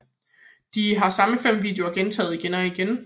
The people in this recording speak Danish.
De samme fem videoer gentages igen og igen